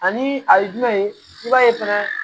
Ani a ye jumɛn ye i b'a ye fɛnɛ